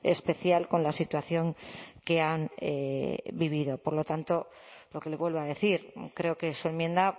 especial con la situación que han vivido por lo tanto lo que le vuelvo a decir creo que su enmienda